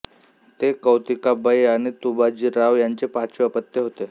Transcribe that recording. ते कौतिकाबाई आणि तुबाजीराव यांचे पाचवे अपत्य होते